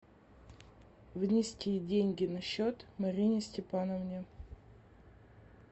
внести деньги на счет марине степановне